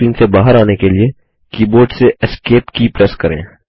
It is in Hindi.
फुल स्क्रीन से बाहर आने के लिए कीबोर्ड से एस्केप की प्रेस करें